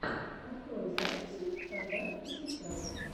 открой записи тогда и сейчас